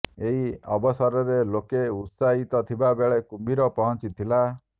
ଏହି ଅବସରରେ ଲୋକେ ଉତ୍ସାହିତ ଥିବା ବେଳେ କୁମ୍ଭୀର ପହଞ୍ଚି ଥିଲା